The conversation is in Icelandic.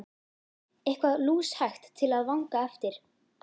Eitthvað lúshægt til að vanga eftir!